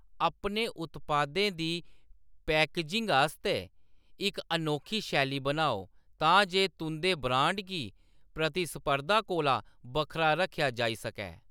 अपने उत्पादें दी पैकेजिंग आस्तै इक अनोखी शैली बनाओ, तां जे तुंʼदे ब्रांड गी प्रतिस्पर्धा कोला बक्खरा रक्खेआ जाई सकै।